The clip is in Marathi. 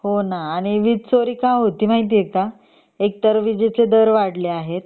हो ना आणि वीज चोरी का होतिये माहितीये का एक तर विजेचे दर वाढले आहेत